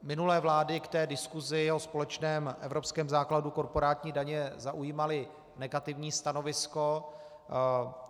Minulé vlády k té diskusi o společném evropském základu korporátní daně zaujímaly negativní stanovisko.